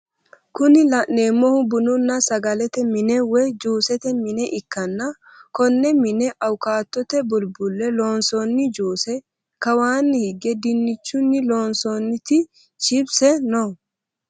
Kuni laneemohu bununna sagalete mine woye juusete mine ikkanna konne mine awukatto bulbulle loonsoonni juuse, kawaanni hige diinnichunni loonsooniti chipise no.